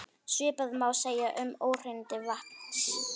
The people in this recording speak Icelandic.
Svipað má segja um óhreinindi vatns.